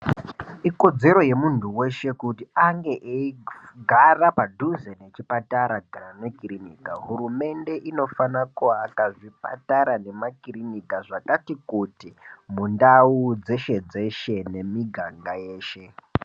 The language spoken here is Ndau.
Ikodzero yemuntu weshe kuti ange eigara padhuze nechipatara kana nekirinika hurumende inofana kuaka zvipatara nemakirinika zvakati kuti mundau dzeshe dzeshe nemiganga yeshe.